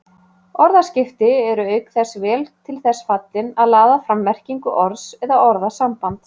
Orðaskipti eru auk þess vel til þess fallin að laða fram merkingu orðs eða orðasambands